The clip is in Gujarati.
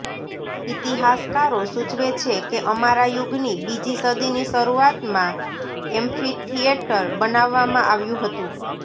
ઇતિહાસકારો સૂચવે છે કે અમારા યુગની બીજી સદીની શરૂઆતમાં એમ્ફીથિયેટર બનાવવામાં આવ્યું હતું